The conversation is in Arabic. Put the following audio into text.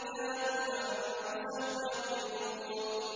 وَلَٰكِن كَانُوا أَنفُسَهُمْ يَظْلِمُونَ